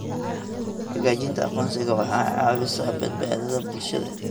Xaqiijinta aqoonsiga waxay caawisaa badbaadada bulshada.